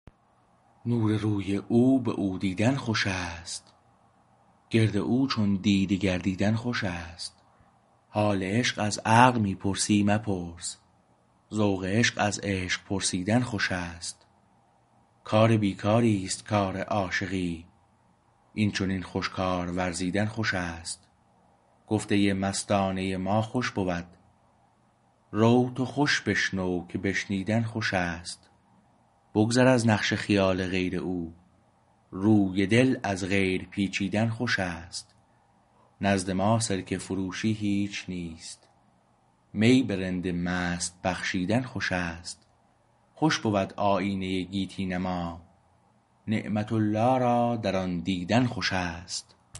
نور روی او به او دیدن خوش است گرد او چون دیده گردیدن خوش است حال عشق از عقل می پرسی مپرس ذوق عشق از عشق پرسیدن خوش است کار بی کاریست کار عاشقی این چنین خوش کار ورزیدن خوش است گفته مستانه ما خوش بود رو تو خوش بشنو که بشنیدن خوش است بگذر از نقش خیال غیر او روی دل از غیر پیچیدن خوش است نزد ما سرکه فروشی هیچ نیست می به رند مست بخشیدن خوش است خوش بود آیینه گیتی نما نعمة الله را در آن دیدن خوشست